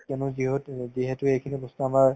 কেনেকুৱা কিহত অ যিহেতু এইখিনি বস্তু আমাৰ